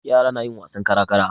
Yara na yin wasan kara-kara.